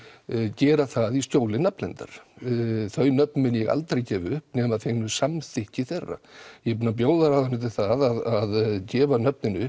gera það í skjóli nafnleyndar þau nöfn mun ég aldrei gefa upp nema að fengnu samþykki þeirra ég er búin að bjóða ráðuneytinu það að gefa nöfnin upp